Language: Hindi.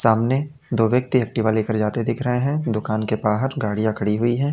सामने दो व्यक्ति एक्टिवा ले कर जाते दिख रहे हैं दुकान के बाहर गाड़ियां खड़ी हुई हैं।